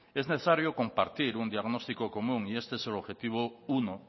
es necesario compartir un diagnóstico común y este es el objetivo uno